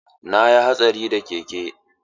Na yi hatsari da keke.